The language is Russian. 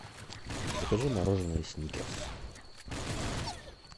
закажи мороженое сникерс